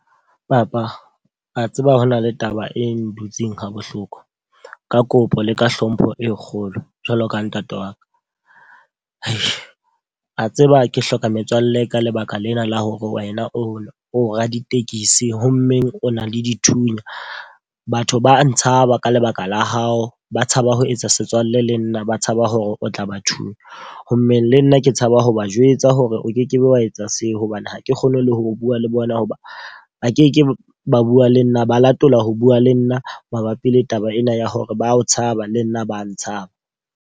Papa, wa tseba hona le taba e dutseng ha bohloko. Ka kopo le ka hlompho e kgolo jwalo ka ntate wa ka. Wa tseba ke hloka metswalle ka lebaka lena la hore wena o o raditekesi, ho mmeng o na le dithunya. Batho ba ntshaba ka lebaka la hao, ba tshaba ho etsa setswalle le nna, ba tshaba hore o tla ba thunyana. Ho mmeng le nna ke tshaba ho ba jwetsa hore o ke ke be wa etsa seo. Hobane hake kgone le ho bua le bona, ho ba ba ke ke ba bua le nna ba latola ho bua le nna mabapi le taba ena ya hore ba o tshaba le nna ba tshaba.